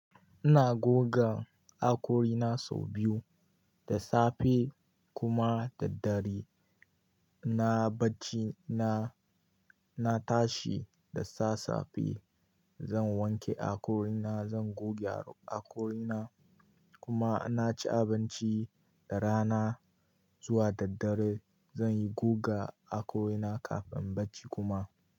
Ina goga hakori na sau biyu, da safe kuma daddare. Na bacci na, na tashi da sassafe. Zan wanke hakori na, zan goge hakori na kuma na ci abinci rana zuwa daddare. Zan yi goga hakori na kafin in bacci kuma.